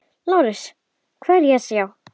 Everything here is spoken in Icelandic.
LÁRUS: Hvað er að sjá?